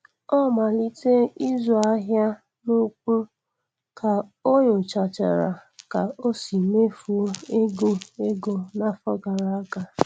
Ọ.malitee ịzụ ahịa.n'ukwu, ka onyochachara ka o si mefuo ego ego n'afọ gara aga.